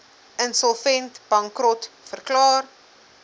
insolvent bankrot verklaar